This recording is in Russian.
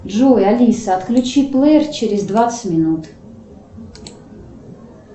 джой алиса отключи плеер через двадцать минут